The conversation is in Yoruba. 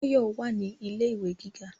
Báyọ̀ wà ní ilé ìwé gíga